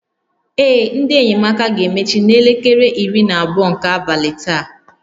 Ee, ndị enyemaka ga-emechi n'elekere iri na abụọ nke abalị taa